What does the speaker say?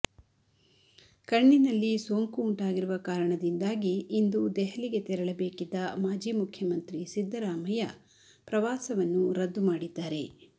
ಕಣ್ಣಿನಲ್ಲಿ ಸೋಂಕು ಉಂಟಾಗಿರುವ ಕಾರಣದಿಂದಾಗಿ ಇಂದು ದೆಹಲಿಗೆ ತೆರಳಬೇಕಿದ್ದ ಮಾಜಿ ಮುಖ್ಯಮಂತ್ರಿ ಸಿದ್ದರಾಮಯ್ಯ ಪ್ರವಾಸವನ್ನು ರದ್ದು ಮಾಡಿದ್ದಾರೆ